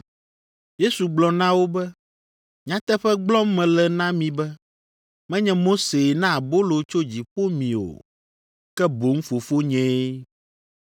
Yesu gblɔ na wo be, “Nyateƒe gblɔm mele na mi be, menye Mosee na abolo tso dziƒo mi o, ke boŋ Fofonyee.